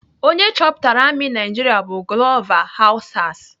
Onye chọpụtara amị Naijiria bụ Glover Hausas.